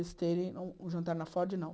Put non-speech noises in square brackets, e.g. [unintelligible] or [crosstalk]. [unintelligible] Um jantar na Ford, não.